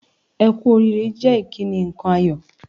"Ẹ kú oríire" jẹ́ ìkíni nǹkan ayọ̀